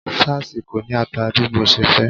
Sáásì kò ní ata bí mo ṣe fẹ́.